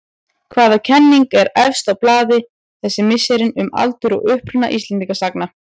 Hvaða kenning er efst á blaði þessi misserin um aldur og uppruna Íslendingasagna?